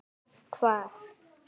Hvar?